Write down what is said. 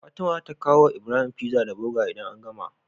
Fatima zata kawo wa Ibrahim pizza da burger idan an gama